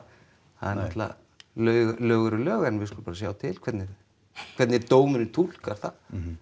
lög eru lög en við skulum bara sjá til hvernig hvernig dómurinn túlkar það